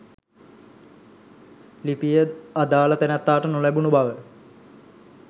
ලිපිය අදාළ තැනැත්තාට නොලැබුණු බව